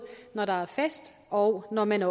når der er fest og når man